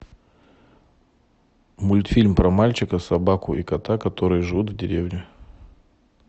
мультфильм про мальчика собаку и кота которые живут в деревне